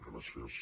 gràcies